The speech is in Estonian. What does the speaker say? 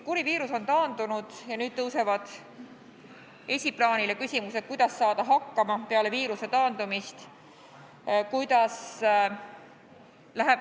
Kuri viirus on taandunud ja nüüd tõusevad esiplaanile küsimused, kuidas saada hakkama peale seda.